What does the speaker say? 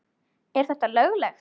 Er þetta löglegt??!!